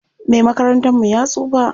Me makarantar mu ya tsufa.